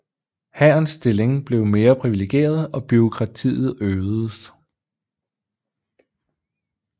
Hærens stilling blev mere privilegeret og bureaukratiet øgedes